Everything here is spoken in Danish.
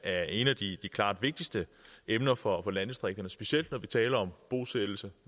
er et af de vigtigste emner for landdistrikterne specielt når vi taler om bosættelse